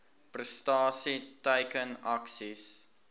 prestasie teiken aksies